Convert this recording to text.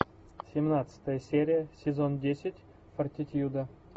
семнадцатая серия сезон десять фортитьюда